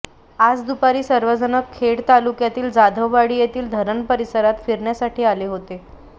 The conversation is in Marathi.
आज दुपारी सर्वजण खेड तालुक्यातील जाधववाडी येथील धरण परिसरात फिरण्यासाठी आले होते